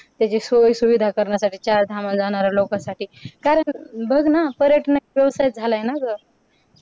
त्याची सोयीसुविधा करण्यासाठी चारधामला जाणाऱ्या लोकांसाठी कारण बघ ना पर्यटन एक व्यवसाय झाला आहे ना ग अह